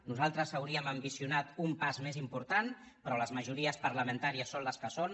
nosaltres hauríem ambicionat un pas més important però les majories parlamentàri·es són les que són